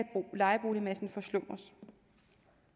lejeboligmassen forslumme